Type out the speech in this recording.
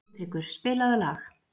Sigtryggur, spilaðu lag.